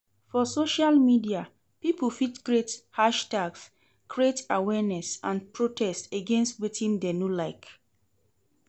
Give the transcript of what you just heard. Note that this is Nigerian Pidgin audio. For social media pipo fit create hashtags create awareness and protest against wetin dem no like